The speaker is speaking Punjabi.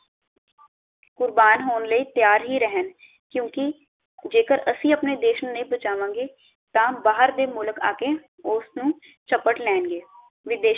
ਕੁਰਬਾਨ ਹੋਣ ਲਈ ਤਿਆਰ ਹੀ ਰਹਿਣ, ਕਿਉਂਕਿ ਜੇਕਰ ਅਸੀਂ ਆਪਣੇ ਦੇਸ਼ ਨੂੰ ਨਹੀਂ ਬਚਾਵਾਂਗੇ ਤਾਂ ਬਾਹਰ ਦੇ ਮੁਲਕ ਆਕੇ ਉਸ ਨੂੰ ਝਪਟ ਲੈਣਗੇ ਵਿਦੇਸ਼